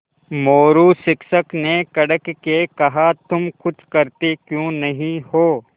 मोरू शिक्षक ने कड़क के कहा तुम कुछ करते क्यों नहीं हो